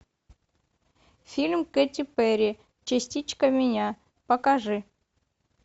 фильм кэти перри частичка меня покажи